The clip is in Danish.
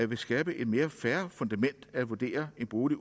vil skabe et mere fair fundament at vurdere en bolig